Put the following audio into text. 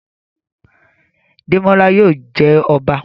Demola yóò jé ọba